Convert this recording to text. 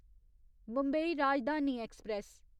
Mumbai Rajdhani express